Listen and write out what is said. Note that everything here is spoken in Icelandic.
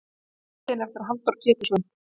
Myndin er eftir Halldór Pétursson.